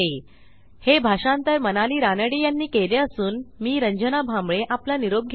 हे भाषांतर मनाली रानडे यांनी केले असून मी रंजना भांबळे आपला निरोप घेते